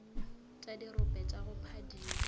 tša dirope tša go phadima